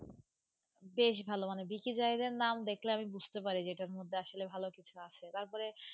বেশ ভালো মানে নাম দেখলে আমি বুঝতে পারি যে এটার মধ্যে আসলে ভালো কিছু আছে, তারপরে